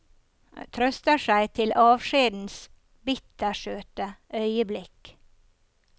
Trøster seg til avskjedens bittersøte øyeblikk.